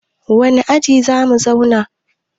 wane aji za mu zauna?